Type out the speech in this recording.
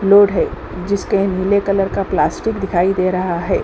Load है जिसके नीले कलर का प्लास्टिक दिखाई दे रहा है।